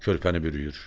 Körpəni bürüyür.